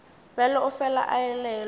bjalo o fela a elelwa